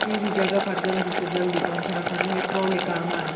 कुई भी जगह पर जल्दी से जल्दी पोंछणा खन या ट्राली काम आंद।